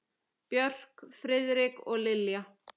Björk, Friðrik og Lilja.